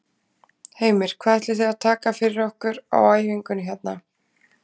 Heimir: Hvað ætlið þið að taka fyrir okkur á æfingunni hérna?